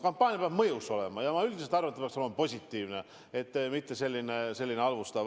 Kampaania peab mõjus olema ja üldiselt ma arvan, et see peab olema positiivne, mitte halvustav.